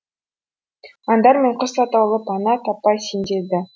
аңдар мен құс атаулы пана таппай сенделді